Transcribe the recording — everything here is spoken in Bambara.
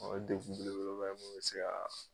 O ye degun belebeleba ye mun bɛ se ka.